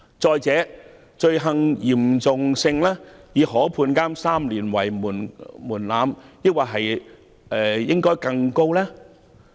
此外，罪行嚴重性以可判監3年為門檻，應否把門檻訂得更高？